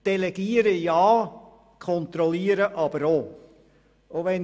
Delegieren ja, kontrollieren aber auch.